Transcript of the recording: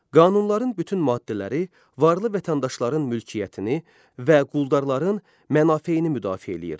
Qanunların bütün maddələri varlı vətəndaşların mülkiyyətini və quldarların mənafeyini müdafiə eləyirdi.